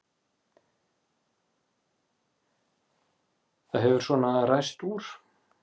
Það hefur svona ræst úr.